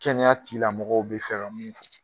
Kɛnɛyatigila mɔgɔw bɛ fɛ mun